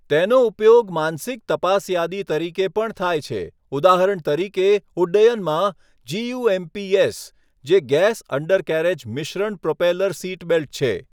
તેનો ઉપયોગ માનસિક તપાસયાદી તરીકે પણ થાય છે, ઉદાહરણ તરીકે ઉડ્ડયનમાં, 'જીયુએમપીએસ', જે 'ગેસ અંડરકેરેજ મિશ્રણ પ્રોપેલર સીટબેલ્ટ' છે.